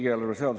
See on jabur!